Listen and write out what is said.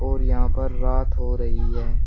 और यहां पर रात हो रही है।